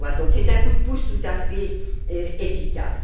C'est un coup de pouce tout à fait efficace.